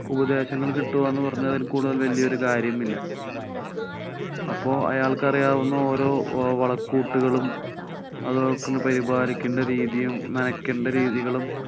ഉപദേശങ്ങള്‍ കിട്ടുക എന്നുപറഞ്ഞാല്‍ അതില്‍ കൂടുതല്‍ വല്ല്യേ ഒരു കാര്യമില്ല. അപ്പോള്‍ അയാള്‍ക്കറിയാവുന്ന ഓരോ വളക്കൂട്ടുകളും അതൊക്കെ പരിപാലിക്കേണ്ട രീതിയും നനക്കണ്ട രീതികളും